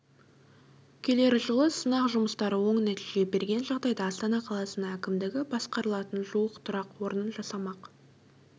келер жылы сынақ жұмыстары оң нәтиже берген жағдайда астана қаласының әкімдігі басқарылатын жуық тұрақ орнын жасамақ